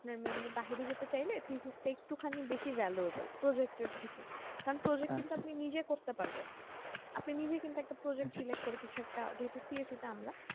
আপনার mainly বাহিরে যেতে চাইলে physics তা একটু বেশি valuable project এর থেকে কারণ project কিন্তু আপনি নিজে করতে পারবেন আপনি নিজে কিন্তু একটা project select করে করে কিছু একটা যেহেতু CSC তে আমরা